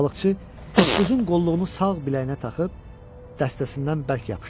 Balıqçı toppuzun qolluğunu sağ biləyinə taxıb dəstəsindən bərk yapışdı.